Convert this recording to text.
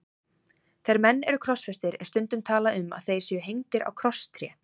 Þegar menn eru krossfestir er stundum talað um að þeir séu hengdir á krosstré.